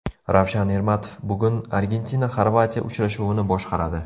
Ravshan Ermatov bugun ArgentinaXorvatiya uchrashuvini boshqaradi.